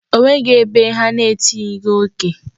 O nweghị ebe ha na-etinyeghi oke.